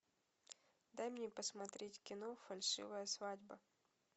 дай мне посмотреть кино фальшивая свадьба